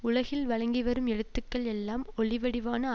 உலகில் வழங்கிவரும் எழுத்துக்கள் எல்லாம் ஒளிவடிவான